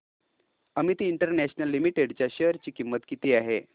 Amit International Limited च्या share ची किंमत किती आहे